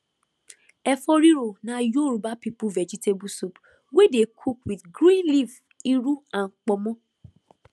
efo riro na yoruba people vegetable soup wey dey cook with green leaf iru and ponmo